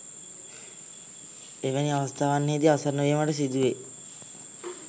එවැනි අවස්ථාවන්හිදී අසරණවීමට සිදුවෙයි.